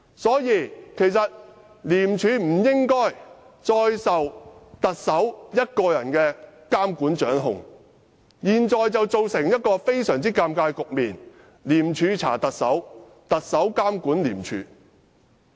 所以，廉署不應再受特首一個人監管和掌控，現時局面非常尷尬：廉署查特首，特首監管廉署。